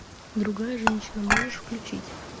другая женщина можешь включить